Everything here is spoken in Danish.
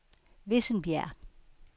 Vissenbjerg